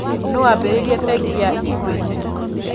Nũũ waambĩrĩirie bengi ya Equity?